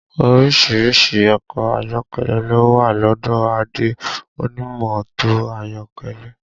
Orísìírísìí ọkọ̀ ayọ́kẹ́lẹ́ ló wà lọ́dọ̀ Adé onímọ́tò ayọ́kẹ́lẹ́